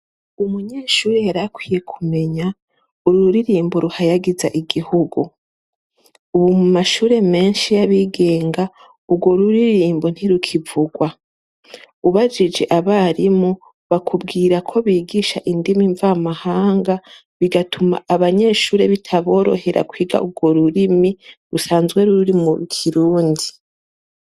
Umunyeshure yarakwiye kumenya ururirimbo ruhayagiza igihugu, ubu mu mashure menshi y'abigenga urwo ruririmbo ntirukivugwa ubajije abarimu bakubwira ko bigisha indimi mvamahanga bigatuma abanyeshure bitaboroherako wiga urwo rurimi rusanzwe r'ururimu kirundi.